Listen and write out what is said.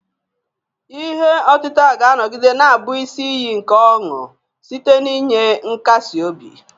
Ihe otita ga-anọgide na-abụ isi iyi nke ọṅụ site n'inye nkasi obi.